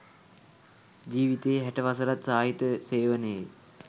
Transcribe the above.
ජීවිතයේ හැට වසරත් සාහිත්‍ය සේවනයේ